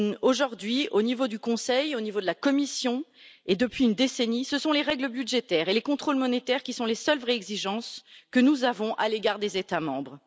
Aujourd'hui, au niveau du Conseil, au niveau de la Commission et depuis une décennie, ce sont les règles budgétaires et les contrôles monétaires qui sont les seules vraies exigences que nous avons à l'égard des États membres.